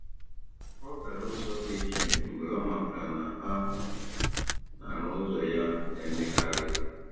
Ọ gara ụzọ dị iche mgbe ọ matara na a na-arụ ụzọ ya na-emekarị.